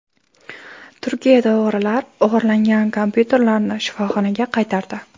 Turkiyada o‘g‘rilar o‘g‘irlangan kompyuterlarni shifoxonaga qaytardi.